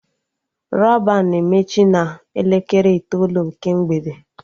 Rọban na-emechi na elekere itoolu nke mgbede